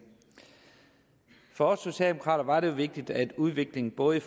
for os socialdemokrater var det vigtigt at udviklingen både i